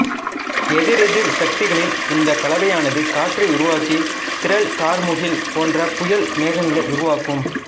எதிரெதிர் சக்திகளின் இந்த கலவையானது காற்றை உருவாக்கி திரள் கார்முகில் போன்ற புயல் மேகங்களை உருவாக்கும்